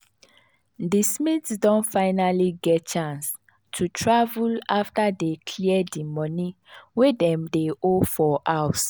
di smiths don finally get chance to travel after dey clear di money wey dem dey owe for house.